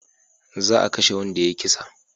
Za a kashe wanda ya yi kisa